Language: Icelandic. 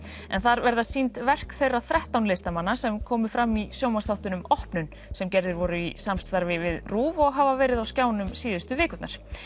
en þar verða sýnd verk þeirra þrettán listamanna sem komu fram í sjónvarpsþáttunum opnun sem gerðir voru í samstarfi við RÚV og hafa verið á skjánum síðustu vikurnar